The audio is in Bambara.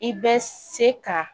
I bɛ se ka